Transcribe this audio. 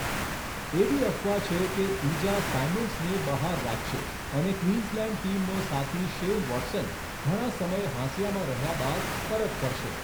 એવી અફવા છે કે ઈજા સાયમન્ડ્સને બહાર રાખશે અને ક્વીન્સલેન્ડ્સ ટીમનો સાથી શેન વોટસન ઘણા સમય હાંસિયામાં રહ્યા બાદ પરત ફરશે.